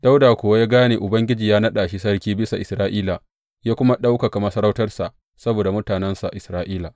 Dawuda kuwa ya gane Ubangiji ya naɗa shi sarki bisa Isra’ila, ya kuma ɗaukaka masarautarsa saboda mutanensa Isra’ila.